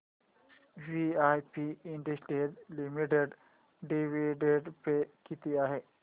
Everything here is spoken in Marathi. वीआईपी इंडस्ट्रीज लिमिटेड डिविडंड पे किती आहे